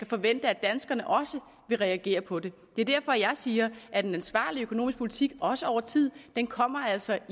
forvente at danskerne vil reagere på det det er derfor jeg siger at en ansvarlig økonomisk politik også over tid altså